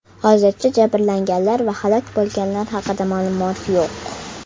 Hozircha jabrlanganlar va halok bo‘lganlar haqida ma’lumot yo‘q.